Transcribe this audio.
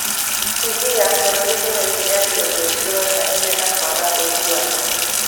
TV ya bũrũri nĩ yoigire atĩ ũndũ ũcio woimanire na kwaga ũiguano.